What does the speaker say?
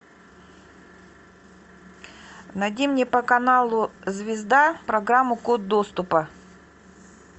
найди мне по каналу звезда программу код доступа